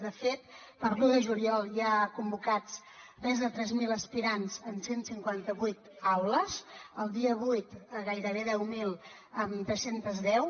de fet per a l’un de juliol hi ha convocats més de tres mil aspirants en cent i cinquanta vuit aules el dia vuit gairebé deu mil amb tres cents i deu